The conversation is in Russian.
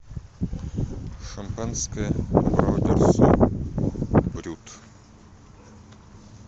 шампанское абрау дюрсо брют